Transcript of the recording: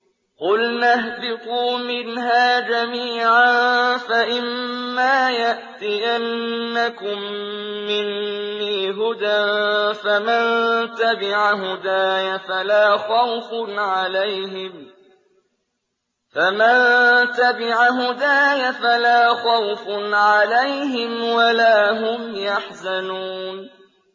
قُلْنَا اهْبِطُوا مِنْهَا جَمِيعًا ۖ فَإِمَّا يَأْتِيَنَّكُم مِّنِّي هُدًى فَمَن تَبِعَ هُدَايَ فَلَا خَوْفٌ عَلَيْهِمْ وَلَا هُمْ يَحْزَنُونَ